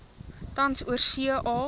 tans oorsee a